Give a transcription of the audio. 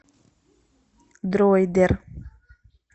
дроидер